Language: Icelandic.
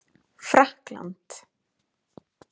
Frakkland